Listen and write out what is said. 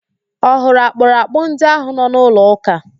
Ọ hụrụ akpụrakpụ ndị ahụ nọ n'ụlọ ụ́kà?